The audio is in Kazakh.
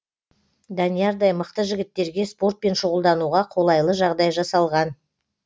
даниярдай мықты жігіттерге спортпен шұғылдануға қолайлы жағдай жасалған